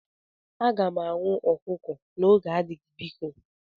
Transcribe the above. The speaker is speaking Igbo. M ga-aṅụ ọkụkọ n'oge adịghị biko